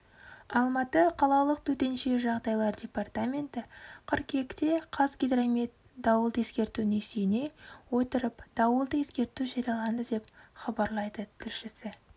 алматы қалалық төтенше жағдайлар департаменті қыркүйекте қазгидромет дауылды ескертуіне сүйене отырыпдауылды ескерту жарияланды деп хабарлайды тілшісі